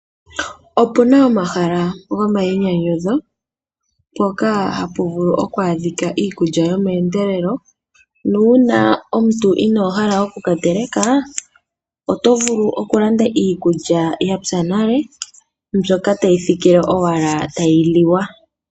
Opuna omahala gomainyanyudho poka hapu vulu okwaa dhika iikulya yomeendelelo na uuna omuntu inoohala oku ka teleka oto vulu oku landa iikulya yatsa nale mbyoka tayi thikile owala tayi liwa.